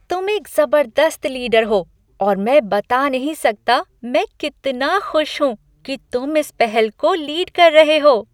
तुम एक ज़बरदस्त लीडर हो और मैं बता नहीं सकता मैं कितना खुश हूँ कि तुम इस पहल को लीड कर रहे हो।